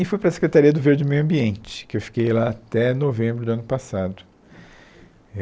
E fui para a Secretaria do Verde Meio Ambiente, que eu fiquei lá até novembro do ano passado.